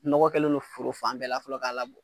Nɔgɔ kɛlen don foro fan bɛɛ la fɔlɔ k'a labɔ.